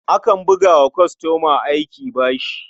Akan buga wa kwastoma aiki a bashi.